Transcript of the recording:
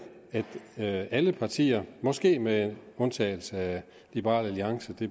at alle partier måske med undtagelse af liberal alliance